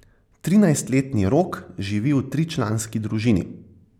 Trinajstletni Rok živi v tričlanski družini.